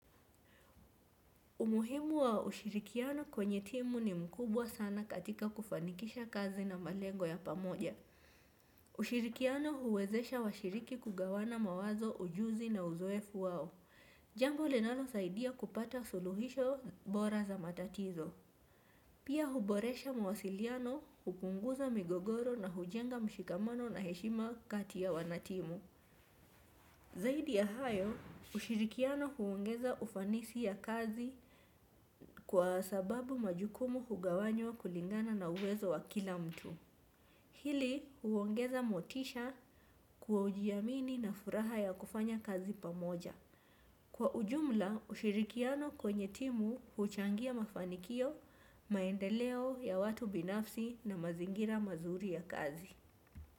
Umuhimu wa ushirikiano kwenye timu ni mkubwa sana katika kufanikisha kazi na malengo ya pamoja. Ushirikiano huwezesha washiriki kugawana mawazo ujuzi na uzoefu wao. Jambo linalo saidia kupata suluhisho bora za matatizo pia huboresha mawasiliano hupunguza migogoro na hujenga mshikamano na heshima kati ya wanatimu. Zaidi ya hayo, ushirikiano huongeza ufanisi ya kazi kwa sababu majukumu hugawanywa kulingana na uwezo wa kila mtu. Hili huongeza motisha kujiamini na furaha ya kufanya kazi pamoja. Kwa ujumla ushirikiano kwenye timu huchangia mafanikio maendeleo ya watu binafsi na mazingira mazuri ya kazi.